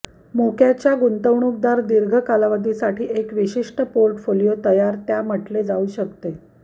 मोक्याचा गुंतवणूकदार दीर्घ कालावधीसाठी साठा एक विशिष्ट पोर्टफोलिओ तयार त्या म्हटले जाऊ शकते